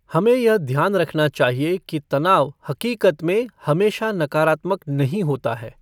हमें यह ध्यान रखना चाहिए कि तनाव हक़ीक़त में हमेशा नकारात्मक नहीं होता है।